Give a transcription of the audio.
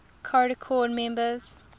caricom members